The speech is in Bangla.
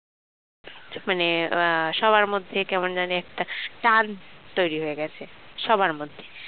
মানে সবার মধ্যে কেমন জানি একটা টান তৈরি হয়ে গেছে সবার মধ্যে